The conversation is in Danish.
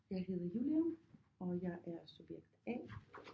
Jeg hedder Julia og jeg er subjekt A